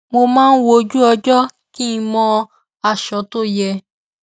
mo máa ń wo ojúọjọ́ kí n mọ aṣọ tó yẹ